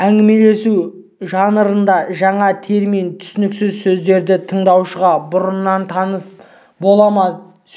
әңгімелесу жанрында жаңа термин түсініксіз сөздерді тыңдаушыға бұрыннан таныс балама